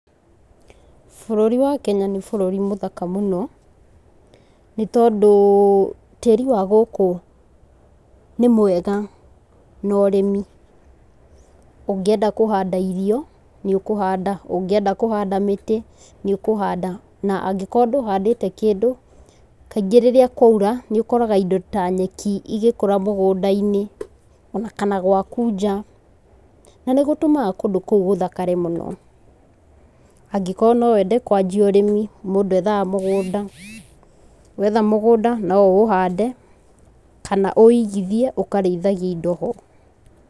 Bũrũri wa Kenya nĩ bũrũri mũthaka mũno tondũ tĩri wa gũkũ nĩ mwega na ũrĩmi, ũngĩenda kũhanda irio nĩ kũhanda irio nĩ ũkũhanda, ũngĩenda kũhanda mĩtĩ nĩ ũkũhanda na angĩkorwo ndũhandĩte kĩndũ kaingĩ rĩrĩa kwaura nĩ ũkoraga indo ya nyeki igĩkũra mũgũnda-inĩ ona kana gwaku nja na nĩ gũtũmaga kũndũ kũu gũthakare mũno angĩkorwo no wende kwanjia ũrĩmi mũndũ ethaga mũgũnda, wetha mũgũnda no ũũhande kana ũwoigithie ũkarĩithagia indo ho.